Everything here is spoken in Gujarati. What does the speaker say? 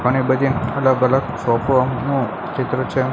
ઘણી બધી અલગ અલગ શોપો નું ચિત્ર છે.